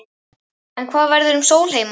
En hvað verður um Sólheima?